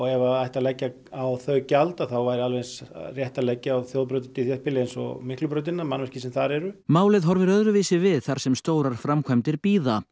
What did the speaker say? ef það ætti að leggja á þau gjald þá væri alveg eins hægt að leggja á þjóðbraut í þéttbýli eins og Miklubrautina eða mannvirki sem þar eru málið horfir öðruvísi við þar sem stórar framkvæmdir bíða